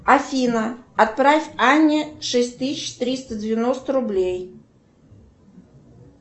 афина отправь анне шесть тысяч триста девяносто рублей